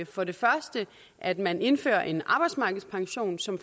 for det første at man indfører en arbejdsmarkedspension som